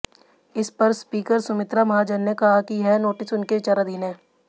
इस पर स्पीकर सुमित्रा महाजन ने कहा कि यह नोटिस उनके विचाराधीन है